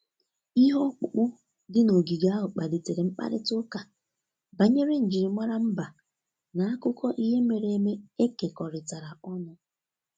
Ihe ọkpụkpụ dị n'ogige ahụ kpalitere mkparịta ụka banyere njirimara mba na akụkọ ihe mere eme e kekọrịta ọnụ.